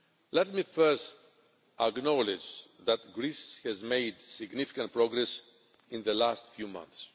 Let me first acknowledge that Greece has made significant progress in the last few months.